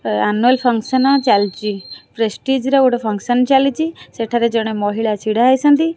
Annual function ଚାଲିଛି prestige ର ଗୋଟେ ଫଙ୍କକ୍ସନ୍ ଚାଲିଛି ସେଠାରେ ଜଣେ ମହିଳା ଛିଡ଼ା ହେଇଛନ୍ତି।